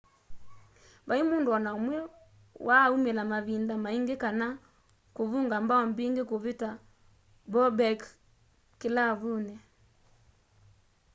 vai mundu o na umwe waa umila mavinda maingi kana kuvunga mbao mbingi kuvita bobek kilavuni